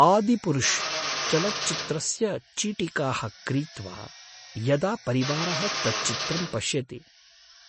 “आदिपुरुष्” चलच्चित्रस्य चीटिकाः क्रीत्वा यदा परिवारः तच्चित्रं पश्यति